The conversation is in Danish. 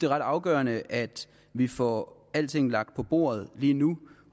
ret afgørende at vi får alting lagt på bordet lige nu